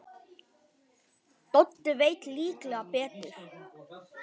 Doddi veit líklega betur.